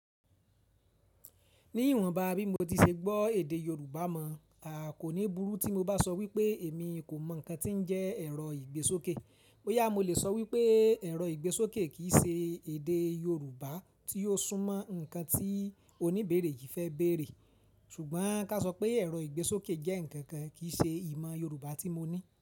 Ní ìwọ̀nba bí mo ti ṣe gbọ́ èdè Yorùbá mọ̀, kò ní burú tí mo bá sọ wípé èmi kò mọ ǹkan tí ń jẹ́ ẹ̀rọ ìgbésókè. Boyà mo lè sọ wípé ẹ̀rọ ìgbésókè kì í ṣe èdè Yorùbá tí ó súnmọ́ ǹkan tí oníbéèrè yìí fẹ́ bèèrè. Ṣùgbọ́n ká sọ pé ẹ̀rọ ìgbésókè jẹ́ ǹkan kan kì í ṣe ìmọ̀ Yorùbá tí mo ní.